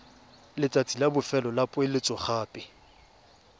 letsatsi la bofelo la poeletsogape